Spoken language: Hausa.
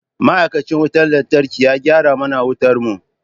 Ma'aikacin wutar lantarki ya gyara mana wutar mu.